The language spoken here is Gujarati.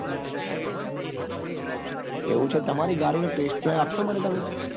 એવું છે તમારી ગાડી નો test drive આપસો મને તમે?